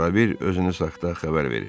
Ara ver, özünüzü saxta xəbər verin.